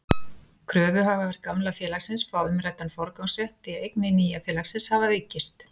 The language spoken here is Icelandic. Kröfuhafar gamla félagsins fá umræddan forgangsrétt því að eignir nýja félagsins hafa aukist.